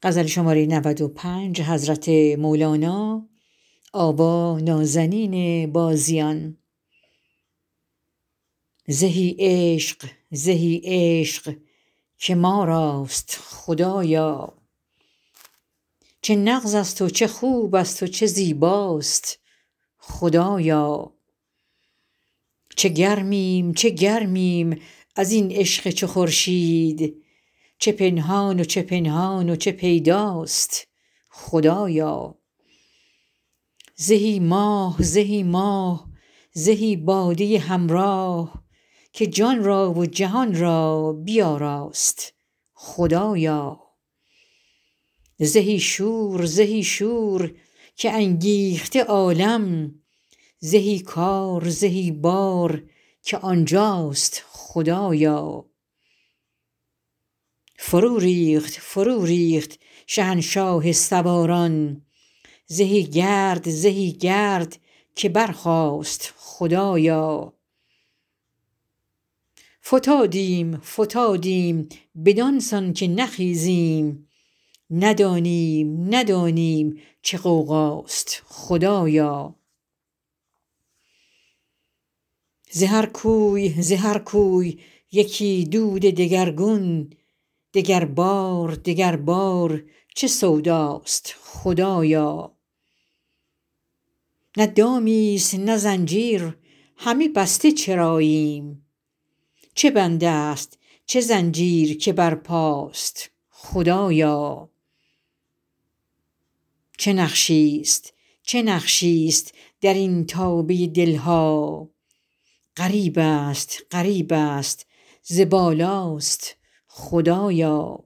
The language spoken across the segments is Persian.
زهی عشق زهی عشق که ما راست خدایا چه نغزست و چه خوبست و چه زیباست خدایا چه گرمیم چه گرمیم از این عشق چو خورشید چه پنهان و چه پنهان و چه پیداست خدایا زهی ماه زهی ماه زهی باده همراه که جان را و جهان را بیاراست خدایا زهی شور زهی شور که انگیخته عالم زهی کار زهی بار که آن جاست خدایا فروریخت فروریخت شهنشاه سواران زهی گرد زهی گرد که برخاست خدایا فتادیم فتادیم بدان سان که نخیزیم ندانیم ندانیم چه غوغاست خدایا ز هر کوی ز هر کوی یکی دود دگرگون دگربار دگربار چه سوداست خدایا نه دامیست نه زنجیر همه بسته چراییم چه بندست چه زنجیر که برپاست خدایا چه نقشیست چه نقشیست در این تابه دل ها غریبست غریبست ز بالاست خدایا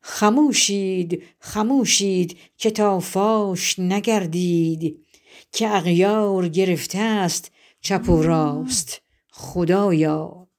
خموشید خموشید که تا فاش نگردید که اغیار گرفتست چپ و راست خدایا